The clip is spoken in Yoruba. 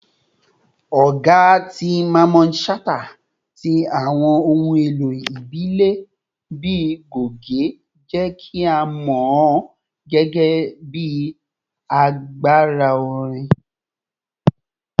Ọga ti Mamman Shata ti awọn ohun elo ibile bii goge jẹ ki a mọ ọ gẹgẹbi agbara orin.